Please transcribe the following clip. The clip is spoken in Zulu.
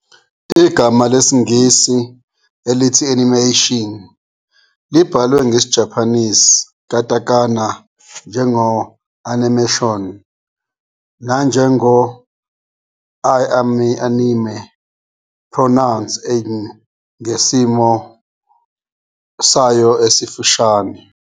Igama lesiNgisi elithi "animation" libhalwe nge-Japanese "katakana" njengo-animēshon, nanjengoi-anime, pronounced ngesimo sayo esifushane.